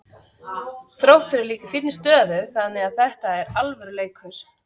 Þróttur er líka í fínni stöðu þannig að þetta er alvöru leikur.